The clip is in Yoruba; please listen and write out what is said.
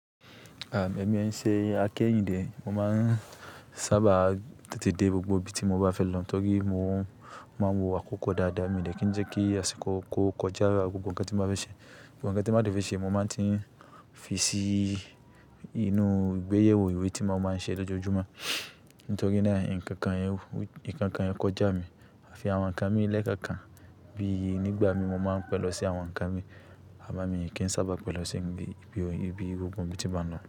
À, èmi ó ṣe akẹ́yìndè. Mo máa ń sábà tètè dé gbogbo ibi tí mo bá fẹ́ lọ. Nítorí mo máa ń wo àkókò dáadáa mi dè kí n jẹ́ kí àsìkò kò kọjá gbogbo ǹkan tí mo bá fẹ́ ṣe. Gbogbo nkan tí mo bá dẹ́ fe ṣe, mo máa ti ń fi sí inú ìgbéyèwò ìwé tí mo máa ń ṣe lójoojúmọ́. Nítorí náà, ǹkan kan yóò, ǹkan kan yóò kọjá mi. À fi àwọn ǹkan mi lẹ́ẹ̀kẹ̀ẹ̀kan bí i nígbà mi mo máa ń pẹ̀lọ́ sí àwọn ǹkan mi. À mo mi kí ń sábà pẹ̀lọ́ sí ibi, ibi ọ, ibi gbogbo ibi tí mo bá lọ.